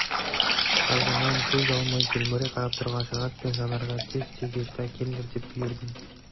қазаннан көз алмай телміре қарап тұрған жанат пен жанарға тез тегешті әкеліңдер деп бұйырдым